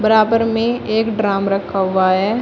बराबर में एक ड्रम रखा हुआ है।